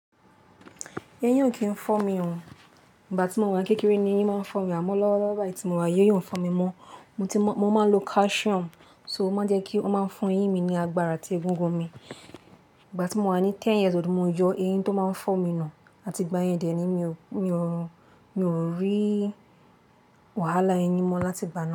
Eyín kì ń fọ́ mi o. Ìgbà tí mo wà kékeré ni eyín máa ń fọ́ mi, àmọ́ lọ́wọ́lọ́wọ́ báyìí tí mo wà, eyín ò ń fọ́ mi mọ. Mo ti mo, mo máa ń lo calcium, so ó máa ń jẹ́ kí ó máa fún eyín mi ní agbára àti egungun mi. Ìgbà tí mo wà ní ten years old, mo yọ eyín tó máa ń fọ́ mi nù, àti ìgbà yẹn dẹ̀ ni mi o, mi o, mi ò rí wàhálà eyín mọ láti ìgbà náà.